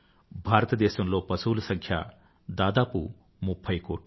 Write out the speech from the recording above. భారతదేశంలో పశువుల సంఖ్య దాదాపు ముఫ్ఫై కోట్లు